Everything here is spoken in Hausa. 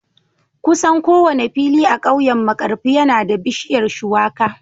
Kusan kowane fili a kauyen Markarfi yana da bishiyar Shuwaka